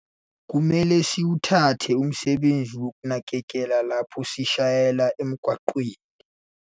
Kumele siwuthathe umsebenzi wokunakekela lapho sishayela emgwaqweni.